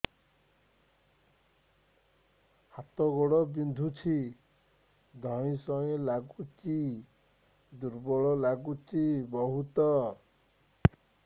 ହାତ ଗୋଡ ବିନ୍ଧୁଛି ଧଇଁସଇଁ ଲାଗୁଚି ଦୁର୍ବଳ ଲାଗୁଚି ବହୁତ